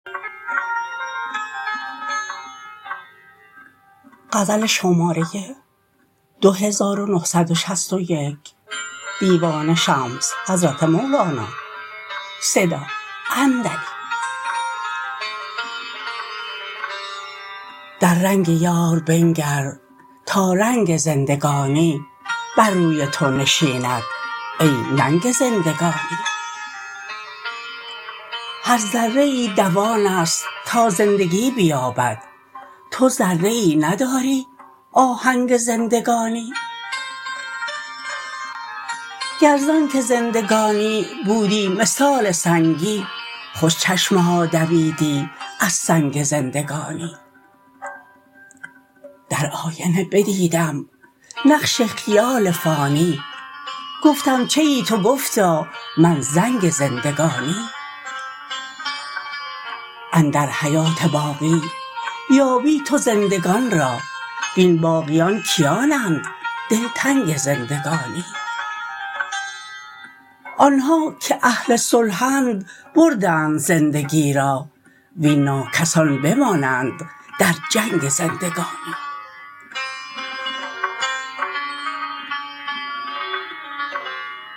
در رنگ یار بنگر تا رنگ زندگانی بر روی تو نشیند ای ننگ زندگانی هر ذره ای دوان است تا زندگی بیابد تو ذره ای نداری آهنگ زندگانی گر ز آنک زندگانی بودی مثال سنگی خوش چشمه ها دویدی از سنگ زندگانی در آینه بدیدم نقش خیال فانی گفتم چه ای تو گفتا من زنگ زندگانی اندر حیات باقی یابی تو زندگان را وین باقیان کیانند دلتنگ زندگانی آن ها که اهل صلحند بردند زندگی را وین ناکسان بمانند در جنگ زندگانی